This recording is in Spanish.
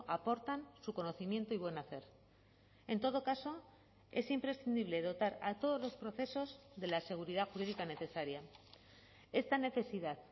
aportan su conocimiento y buen hacer en todo caso es imprescindible dotar a todos los procesos de la seguridad jurídica necesaria esta necesidad